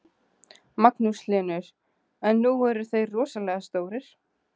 Magnús Hlynur: En nú eru þeir rosalega stórir?